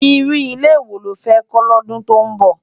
Irú ilé wó ló fè kò lòdún tó nbó?